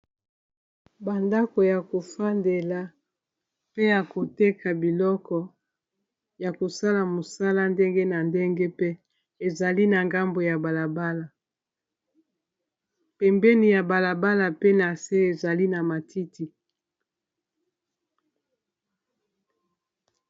bandako ya kofandela pe ya koteka biloko ya kosala mosala ndenge na ndenge pe ezali na ngambo ya balabala pembeni ya balabala pe na se ezali na matiti